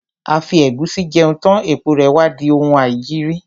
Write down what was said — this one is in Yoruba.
A fi ẹ̀gúsí jẹun tán, èpo rè wá di oun aìjiri.